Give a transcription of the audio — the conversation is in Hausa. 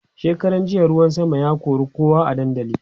shekaran jiya ruwan sama ya kora kowa a dandali